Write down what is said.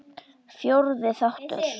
Fjórði þáttur